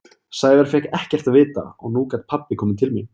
Sævar fékk ekkert að vita og nú gat pabbi komið til mín.